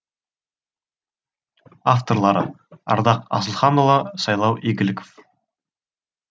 авторлары ардақ асылханұлы сайлау игіліков